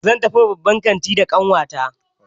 Zan tafi babban kantin da ƙanwata.